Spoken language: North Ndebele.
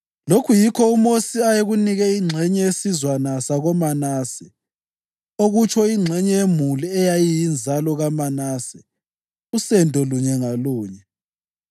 Lokhu yikho uMosi ayekunike ingxenye yesizwana sakoManase, okutsho ingxenye yemuli eyayiyinzalo kaManase, usendo lunye ngalunye: